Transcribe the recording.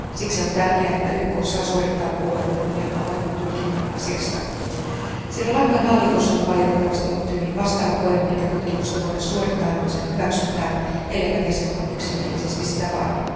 Siksi on tärkeää, että YK saa suorittaa puolueettoman ja avoimen tutkinnan asiasta. Sri Lankan hallitus on valitettavasti ollut hyvin vastahakoinen, eikä tutkimusta voida suorittaa ilman sen hyväksyntää, elleivät jäsenmaat yksimielisesti sitä vaadi.